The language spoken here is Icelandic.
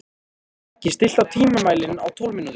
Beggi, stilltu tímamælinn á tólf mínútur.